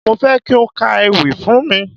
Mo fẹ́ kí o ka ewì fún mi.